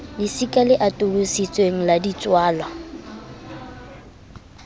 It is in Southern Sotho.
lesika le atolositsweng la ditswala